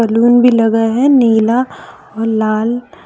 Balloon भी लगा है नीला और लाल।